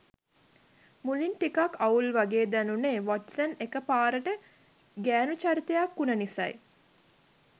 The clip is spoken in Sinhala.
මුලින් ටිකක් අවුල් වගේ දැනුනේ වොට්සන් එක පාරටම ගෑනු චරිතයක් උන නිසයි.